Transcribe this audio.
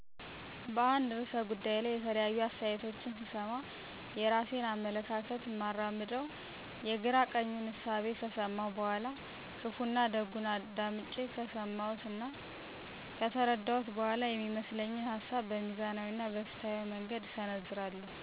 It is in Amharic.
በአንድ ርዕሰ ጉዳይ ላይ የተለያዩ አስተያየቶችን ስሰማ፣ የራሴን አመለካከት እማራምደው የግራ ቀኙን እሳቤ ከሰመው በኋላ፣ ክፋና ደጉን አዳምጨ ከሰመው እና ከተረደው በኋላ፤ የሚመስለኝን ሀሳብ በሚዛናዊ እና በፋትሀዊ መንገድ እሰነዝራለሁ።